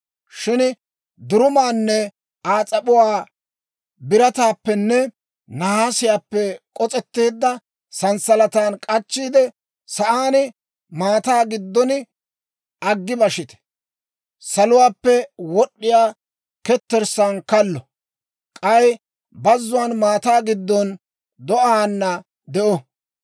Shin durumaanne Aa s'ap'uwaa, birataappenne nahaasiyaappe k'os's'eedda sanssalatan k'achchiide, sa'aan, maataa giddon aggi bashite. Saluwaappe wod'd'iyaa ketterssaan kallo; k'ay bazzuwaan maataa giddon do'aana de'o.